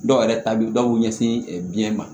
Dɔw yɛrɛ ta bɛ dɔw ɲɛsin biyɛn ma